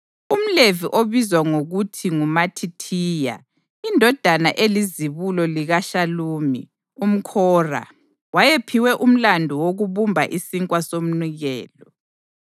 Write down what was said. UmLevi obizwa ngokuthi nguMathithiya, indodana elizibulo likaShalumi umKhora, wayephiwe umlandu wokubumba isinkwa somnikelo.